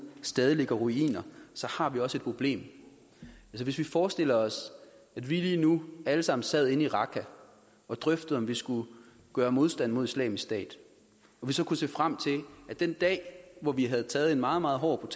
stadig ligger i ruiner har vi også et problem hvis vi forestiller os at vi lige nu alle sammen sad inde i raqqa og drøftede om vi skulle gøre modstand mod islamisk stat og vi så kunne se frem til den dag hvor vi havde taget en meget meget hård og